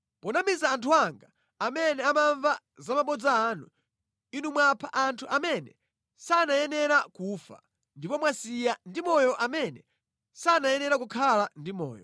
Ponamiza anthu anga amene amamva za mabodza anu, inu mwapha anthu amene sanayenera kufa ndipo mwasiya ndi moyo amene sanayenera kukhala ndi moyo.